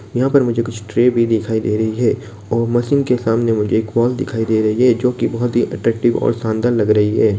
यहां पर मुझे कुछ ट्रे भी दिखाई दे रही है और मशीन के सामने मुझे एक हॉल दिखाई दे रही है जो कि बहुत ही अट्रैक्टिव और शानदार लग रही है।